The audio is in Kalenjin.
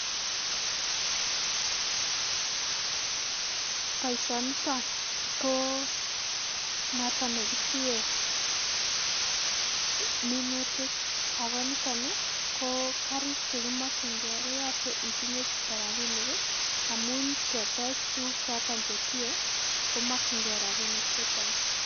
Boishoniton koo noton nekitie minutik akoo niton ii koo karik chekimokying'e koyoche itinye chito rabinik amun ketech tukuk choton chetinyee komokying'ee rabinik chechang.